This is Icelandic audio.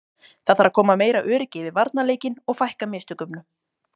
Það þarf að koma meira öryggi yfir varnarleikinn og fækka mistökunum.